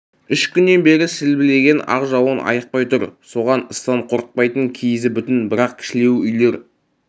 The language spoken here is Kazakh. үш күннен бері сілбілеген ақ жауын айықпай тұр соған ыстан қорықпайтын киізі бүтін бірақ кішілеу үйлер